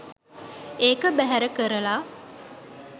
ඒක බැහැර කරල